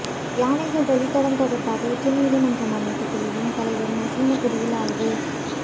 யானைகள் வழித்தடம் தொடர்பாக உச்சநீதிமன்றம் அமைத்த குழுவின் தலைவர் மசினகுடியில் ஆய்வு